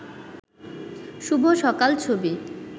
শুভ সকাল ছবি